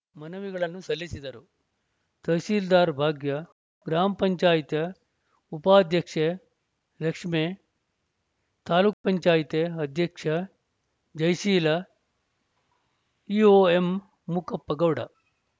ಮನವಿಗಳನ್ನು ಸಲ್ಲಿಸಿದರು ತಹಸೀಲ್ದಾರ್‌ ಭಾಗ್ಯ ಗ್ರಾಮ ಪಂಚಾಯತ್ ಉಪಾಧ್ಯಕ್ಷೆ ಲಕ್ಷ್ಮೇ ತಾಲೂಕ್ ಪಂಚಾಯತ್ ಅಧ್ಯಕ್ಷೆ ಜಯಶೀಲ ಇಓ ಎಂಮೂಕಪ್ಪ ಗೌಡ